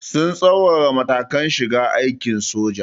Sun tsaurara matakan shiga aikin soja.